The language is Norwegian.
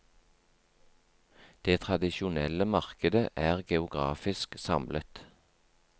Det tradisjonelle markedet er geografisk samlet.